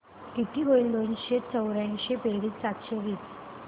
किती होईल दोनशे चौर्याऐंशी बेरीज सातशे तीस